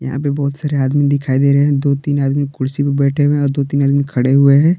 यहां पे बहुत सारे आदमी दिखाई दे रहे हैं दो तीन आदमी कुर्सी पर बैठे हुए और दो तीन दिन खड़े हुए हैं।